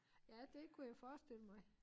Ja det kunne jeg forestille mig